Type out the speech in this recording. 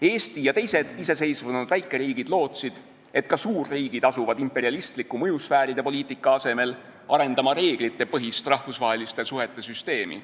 Eesti ja teised iseseisvunud väikeriigid lootsid, et ka suurriigid asuvad imperialistliku mõjusfääride poliitika asemel arendama reeglitepõhist rahvusvaheliste suhete süsteemi.